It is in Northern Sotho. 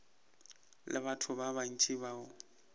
le batho ba bantši bao